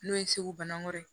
N'o ye segu bana wɛrɛ ye